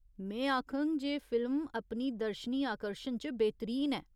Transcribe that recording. में आखङ जे फिल्म अपनी दर्शनी आकर्शन च बेहतरीन ऐ।